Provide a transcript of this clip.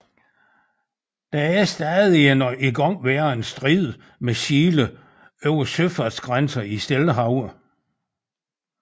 Der er stadig en igangværende strid med Chile over søfartsgrænser i Stillehavet